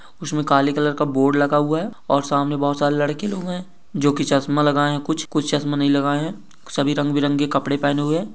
उसमे काले कलर का बोर्ड लगा हुआ है और सामने बोहत सारे लड़के लोग है जो की चश्मा लगाए कुछ चश्मा नही लगाए है सभी रंग बिरंगे कपड़े पहने हुए है।